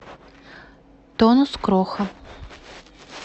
тонус кроха